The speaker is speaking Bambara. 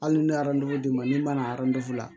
Hali ni ye d'i ma min mana a la